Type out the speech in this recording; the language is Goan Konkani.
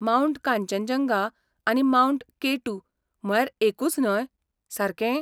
मावंट कांचनजंगा आनी मावंट के टू म्हळ्यार एकूच न्हय, सारके?